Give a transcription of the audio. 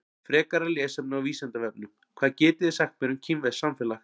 Frekara lesefni á Vísindavefnum: Hvað getið þið sagt mér um kínverskt samfélag?